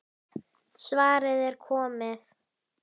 Svarið er komið.